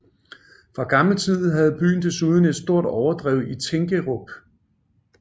Fra gammel tid havde byen desuden et stort overdrev i Tinkerup